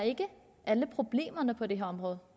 alle problemer på det her område